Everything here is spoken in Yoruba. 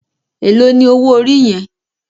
Éló ni ówó óri yèn?